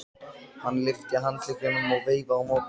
Hann lyfti handleggnum og veifaði á móti.